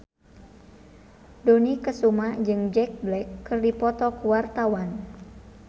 Dony Kesuma jeung Jack Black keur dipoto ku wartawan